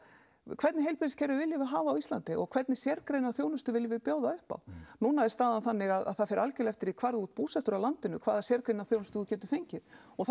hvernig heilbrigðskerfi viljum við hafa á Íslandi og hvernig sérgreina þjónustu viljum við bjóða upp á núna er staðan þannig að það fer algjörlega eftir því hvar þú ert búsettur á landinu hvaða sérgreina þjónustu þú getur fengið og það